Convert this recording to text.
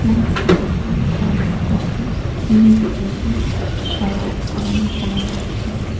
plains dikhi ase fan dikhi ase T_V dikhi ase aro government calander dikhi ase.